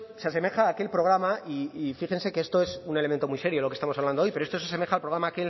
es se asemeja a aquel programa y fíjense que esto es un elemento muy serio lo que estamos hablando hoy pero esto se asemeja al programa aquel